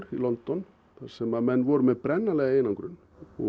í London þar sem menn voru með brennanlega einangrun